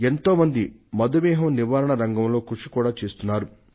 ఎంతో మంది మధుమేహం నివారణ రంగంలో కృషి చేస్తున్నారు కూడా